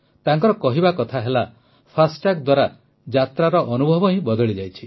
ତାଙ୍କର କହିବା କଥା ହେଲା ଫାଷ୍ଟାଗ୍ ଦ୍ୱାରା ଯାତ୍ରାର ଅନୁଭବ ହିଁ ବଦଳିଯାଇଛି